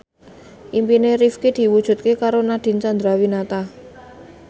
impine Rifqi diwujudke karo Nadine Chandrawinata